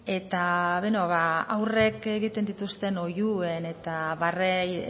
eta beno ba haurrek egiten dituzten oihuen eta barrei